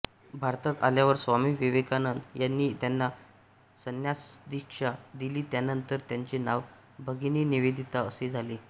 भारतात आल्यावर स्वामी विवेकानंद यांनी त्याना संन्यासदीक्षा दिली त्यानंतर त्यांचे नाव भगिनी निवेदिता असे झाले